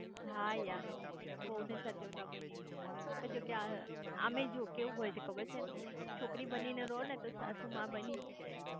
હા યાર વહુ ને સાચવતા બી નઈ મુકતા પણ આ આમેય કેવું હોય છે ખબર છે છોકરી બની ને રો ને તો સાસુ માં બનીજ જાય છે